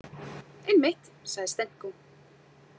Einmitt, sagði Stenko.